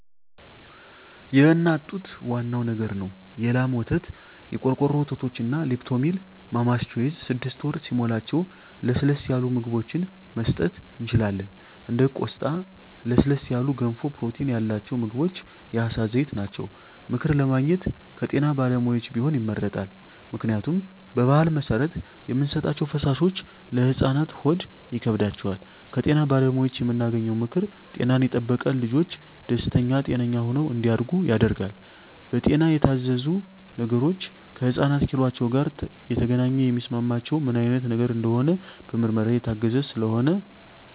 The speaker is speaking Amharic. የእናት ጡት ዋናው ነገር ነው የላም ወተት , የቆርቆሮ ወተቶች እንደ ሊፕቶሚል ማማስ ቾይዥ ስድስት ወር ሲሞላቸው ለስለስ ያሉ ምግብችን መስጠት እንችላለን እንደ ቆስጣ ለስለስ ያሉ ገንፎ ፕሮቲን ያላቸው ምግቦች የአሳ ዘይት ናቸው። ምክር ለማግኘት ከጤና ባለሙያዎች ቢሆን ይመረጣል ምክንያቱም በባህል መሰረት የምንሰጣቸዉ ፈሳሾች ለህፃናት ሆድ ይከብዳቸዋል። ከጤና ባለሙያዎች የምናገኘው ምክር ጤናን የጠበቀ ልጅች ደስተኛ ጤነኛ ሆነው እንዳድጉ ያደርጋል። በጤና የታዘዙ ነገሮች ከህፃናት ኪሏቸው ጋር የተገናኘ የሚስማማቸው ምን አይነት ነገር እንደሆነ በምርመራ የታገዘ ስለሆነ